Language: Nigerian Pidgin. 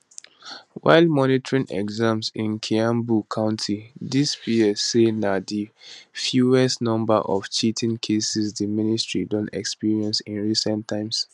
while monitoring examinations in kiambu county di ps say na di fewest number of cheating cases di ministry don experience in recent times